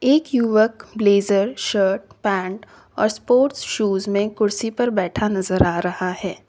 एक युवक blazer shirt pant और स्पोर्ट्स शूज में कुर्सी पर बैठा नजर आ रहा है।